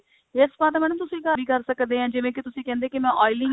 hair spa ਤਾਂ madam ਤੁਸੀਂ ਘਰ ਹੀ ਕਰ ਸਕਦੇ ਐ ਜਿਵੇਂ ਕਿ ਤੁਸੀ ਕਹਿੰਦੇ ਕਿ ਮੈਂ oiling